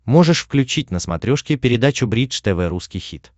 можешь включить на смотрешке передачу бридж тв русский хит